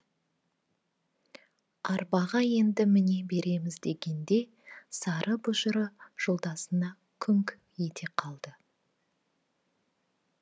арбаға енді міне береміз дегенде сары бұжыры жолдасына күңк ете қалды